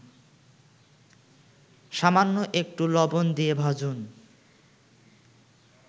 সামান্য একটু লবণ দিয়ে ভাজুন